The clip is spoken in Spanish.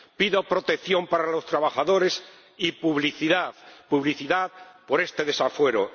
Pido protección para los trabajadores y publicidad por este desafuero.